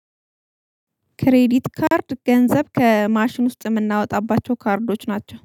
ክሬዲት ካርድ ገንዘብ ከማሽን ውስጥ የምናወጣባቸው ካርዶች ናቸው